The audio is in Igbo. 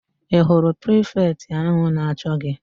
Ị hụrụ prifetị áhụ̀ na-achọ gị?